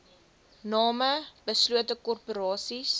name beslote korporasies